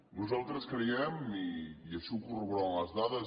nosaltres creiem i així ho corroboren les dades